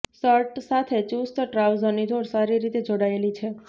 shirt સાથે ચુસ્ત ટ્રાઉઝરની જોડ સારી રીતે જોડાયેલી છે